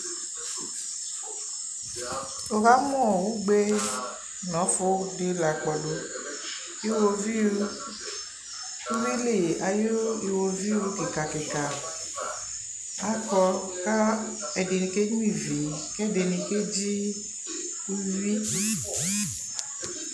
wukamuu ugbe nɔfudi lakpɔɖu Iwoviu uwilii ayuu iwoviu kika kika akɔɔ kɛdini kenyuaivi kɛdini keɖʒi uwii